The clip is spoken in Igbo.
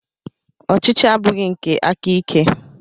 Ọchịchị abụghị nke aka ike.